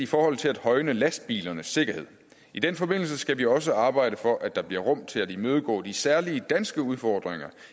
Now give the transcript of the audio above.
forhold til at højne lastbilernes sikkerhed i den forbindelse skal vi også arbejde for at der bliver rum til at imødegå de særlige danske udfordringer